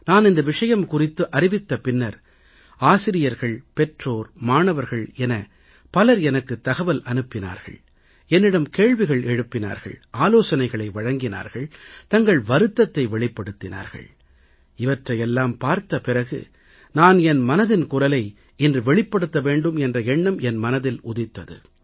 நான் இந்த விஷயம் குறித்து அறிவித்த பின்னர் ஆசிரியர்கள் பெற்றோர் மாணவர்கள் என பலர் எனக்கு தகவல் அனுப்பினார்கள் என்னிடம் கேள்விகள் எழுப்பினார்கள் ஆலோசனைகள் வழங்கினார்கள் தங்கள் வருத்தத்தை வெளிப்படுத்தினார்கள் இவற்றையெல்லாம் பார்த்த பிறகு நான் என் மனதின் குரலை இன்று வெளிப்படுத்த வேண்டும் என்ற எண்ணம் என் மனதில் உதித்தது